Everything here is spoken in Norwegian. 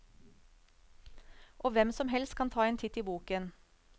Og hvem som helst kan ta en titt i boken.